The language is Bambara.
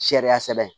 Sariya sɛbɛn